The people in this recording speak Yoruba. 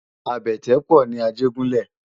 Àbètè pò ni Ajegunle